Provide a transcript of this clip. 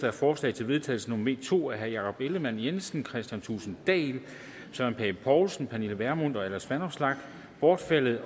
er forslag til vedtagelse nummer v to af jakob ellemann jensen kristian thulesen dahl søren pape poulsen pernille vermund og alex vanopslagh bortfaldet